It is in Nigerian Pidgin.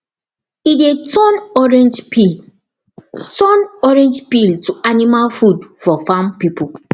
e dey turn orange peel turn orange peel to animal food for farm people